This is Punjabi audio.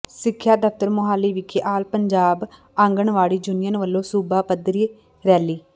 ਸਿੱਖਿਆ ਦਫ਼ਤਰ ਮੁਹਾਲੀ ਵਿਖੇ ਆਲ ਪੰਜਾਬ ਆਂਗਣਵਾੜੀ ਯੂਨੀਅਨ ਵਲੋਂ ਸੂਬਾ ਪੱਧਰੀ ਰੈਲੀ